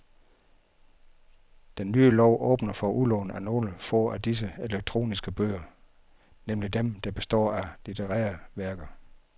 Den nye lov åbner for udlån af nogle få af disse elektroniske bøger, nemlig dem der består af litterære værker.